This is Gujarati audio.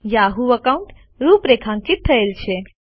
યાહૂ એકાઉન્ટ રૂપરેખાંકિત થયેલ છે